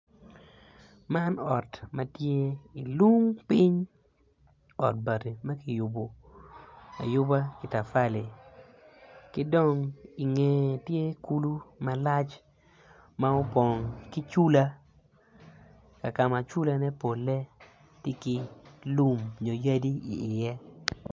Man ot ma tye i lung piny ot bati ma kiyubo ayuba ki matafali ki dong i ngeye tye kulu malac ma opong ki cula kaka ma culane polle tye ki lum nyo yadi iye.